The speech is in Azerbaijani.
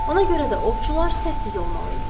Ona görə də ovçular səssiz olmalı idilər.